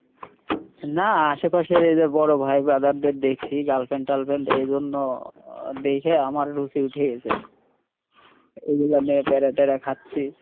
নাহ, আশেপাশে এইযে বড়ো ভাই brother দের দেখছি, girlfriend ট্রাল friend এইজন্য দেইখা আমার রুচি উঠে গেছে, এইগুলা নিয়ে প্যারাট্যারা খাচ্ছি।